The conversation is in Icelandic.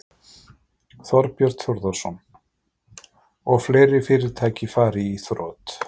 Þorbjörn Þórðarson: Og fleiri fyrirtæki fari í þrot?